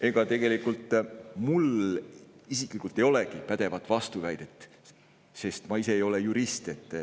Ega tegelikult mul isiklikult ei olegi pädevat vastuväidet, sest ma ise ei ole jurist.